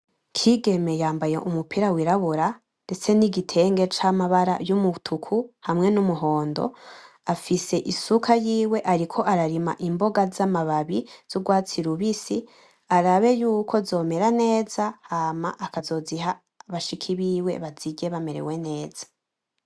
Kigeme yambaye umupira wirabura ndetse n'igitenge c'amabara y'umutuku hamwe n'umuhondo afise isuka yiwe ariko imboga zamababi z'urwatsi rubisi arabe yuko zomera neza hama akazoziha bashiki biwe bazirye bamerewe neza.